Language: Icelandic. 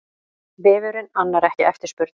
Vefurinn annar ekki eftirspurn